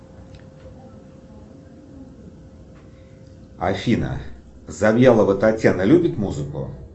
афина завьялова татьяна любит музыку